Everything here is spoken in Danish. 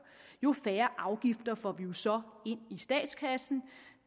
jo færre afgifter får vi så ind i statskassen